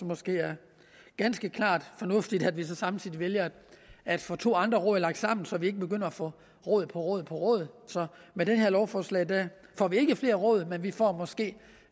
måske er ganske klart fornuftigt at vi så samtidig vælger at få to andre råd lagt sammen så vi ikke begynder at få råd på råd på råd så med det her lovforslag får vi ikke flere råd men vi får måske